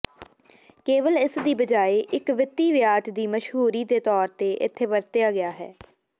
ਕੇਵਲ ਇਸ ਦੀ ਬਜਾਏ ਇੱਕ ਵਿੱਤੀ ਵਿਆਜ ਦੀ ਮਸ਼ਹੂਰੀ ਦੇ ਤੌਰ ਤੇ ਇਥੇ ਵਰਤਿਆ ਹੈ